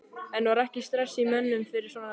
En var ekki stress í mönnum fyrir svona leik?